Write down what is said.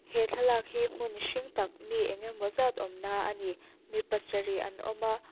he thlalâk hi hmun hring tak mi engnge maw zat awmna a ni mi pasarih an awm a.